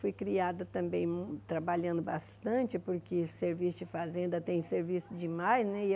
Fui criada também mui trabalhando bastante, porque serviço de fazenda tem serviço demais, né?